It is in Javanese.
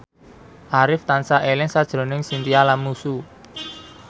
Arif tansah eling sakjroning Chintya Lamusu